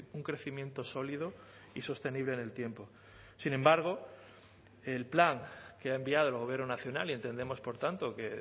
un crecimiento sólido y sostenible en el tiempo sin embargo el plan que ha enviado el gobierno nacional y entendemos por tanto que